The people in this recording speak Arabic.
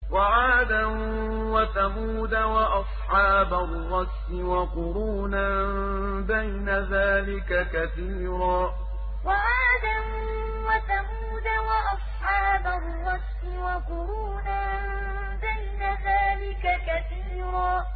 وَعَادًا وَثَمُودَ وَأَصْحَابَ الرَّسِّ وَقُرُونًا بَيْنَ ذَٰلِكَ كَثِيرًا وَعَادًا وَثَمُودَ وَأَصْحَابَ الرَّسِّ وَقُرُونًا بَيْنَ ذَٰلِكَ كَثِيرًا